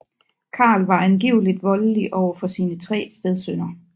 Carl var angiveligt voldelig over for sine tre stedsønner